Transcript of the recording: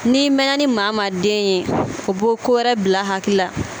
N'i mɛnna ni maa maa den ye o bi ko wɛrɛ bila a hakili la.